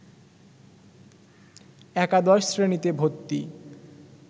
একাদশ শ্রেণিতে ভর্তি